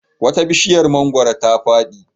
Wata bishiyar mangwaro ta fadi.